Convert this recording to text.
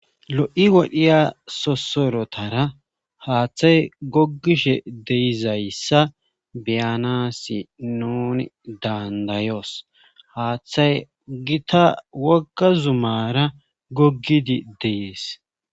lo7i wodhiya sosorotara haaththay gogishe de'izayssa beyanasi nuni dandayoos haaththay gita wogga zumara gogidi dees